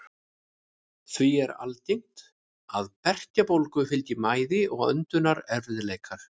Því er algengt að berkjubólgu fylgi mæði og öndunarerfiðleikar.